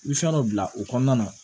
I bɛ fɛn dɔ bila o kɔnɔna na